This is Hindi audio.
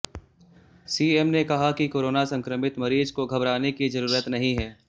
सीएम ने कहा कि कोरोना संक्रमित मरीज को घबराने की जरूरत नहीं है